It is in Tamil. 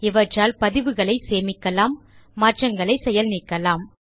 இவற்றால் பதிவுகளை சேமிக்கலாம் மாற்றங்களை செயல் நீக்கலாம்